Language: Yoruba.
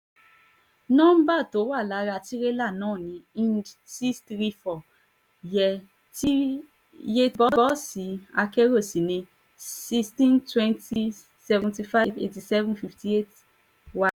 nomba tó wà lára tirẹ̀lá náà ni lnd six hundred thirty four [/?] bọ́ọ̀sì akérò sí ní one thousand six hundred twenty seven hundred fifty eight seven hundred fifty eight